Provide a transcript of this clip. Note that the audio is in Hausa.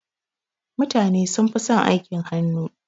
Mutane sunfi son aikin hannu.